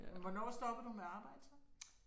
Men hvornår stoppede du med at arbejde så?